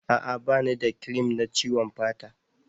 A'a ba ni da cream na ciwon fata